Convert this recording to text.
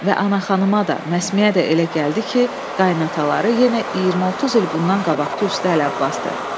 Və Ana xanıma da, Məsməyə də elə gəldi ki, qayınataları yenə 20-30 il bundan qabaqki usta Əli Abbasdır.